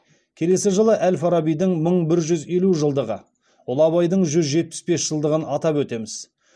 келесі жылы әл фарабидің мың бір жүз елу жылдығы ұлы абайдың жүз жетпіс бес жылдығын атап өтеміз